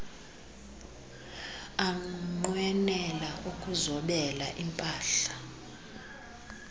anqwenela ukuzobela impah